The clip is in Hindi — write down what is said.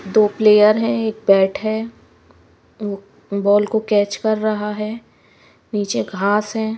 दो प्लेयर हैं एक बैट है वो बॉल कोकैच कर रहा है नीचे घास है।